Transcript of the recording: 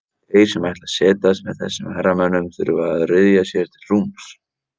Þeir sem ætla að setjast með þessum herramönnum þurfa að ryðja sér til rúms.